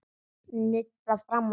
Nudda fram og til baka.